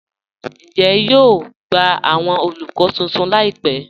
Ǹjẹ̀ à yóò gbà awọn olúkọ̀ tuntun láìpẹ̀?